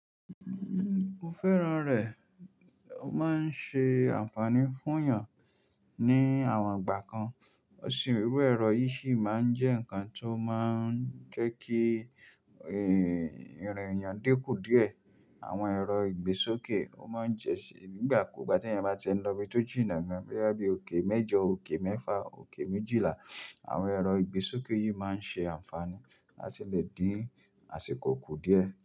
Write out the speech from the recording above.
Nnn, mo fẹ́ràn rẹ̀. Ó máa ń ṣe àǹfààní fún èèyàn ní àwọn ìgbà kan. Irú ẹ̀rọ yìí sì máa ń jẹ́ ǹkan tó máa ń jẹ́ kí, eh, ìrìn èèyàn dínkù díẹ̀. Àwọn ẹ̀rọ ìgbésókè, ó máa ń jẹ́ ṣé nígbàkúgbà tí èèyàn bá ti e nlọ ibi tó jìnnà gan, bóyá bí i òkè mẹ́jọ, òkè mẹ́fà, òkè méjìlá. Àwọn ẹ̀rọ ìgbésókè yìí máa ń ṣe àǹfààní láti lè dín àsìkò kù díẹ̀